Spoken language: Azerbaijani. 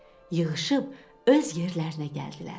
Yığışıb öz yerlərinə gəldilər.